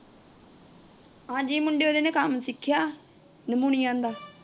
ਹਾਂਜੀ, ਮੁੰਡੇ ਉਹਂਦੇ ਨੇ ਕੰਮ ਸਿੱਖਿਆ ਅਲਮੁਨਿਊਮ ਦਾ।